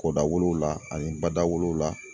Ko dawolo la ani ba dawolo la